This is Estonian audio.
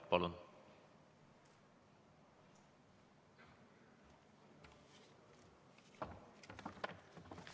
Palun!